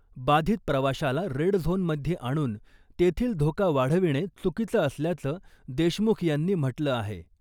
बाधित प्रवाशाला red zone मध्ये आणून तेथील धोका वाढविणे चुकीचं असल्याचं देशमुख यांनी म्हटलं आहे .